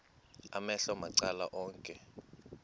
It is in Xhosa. amehlo macala onke